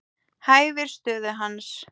Hæfir stöðu hans.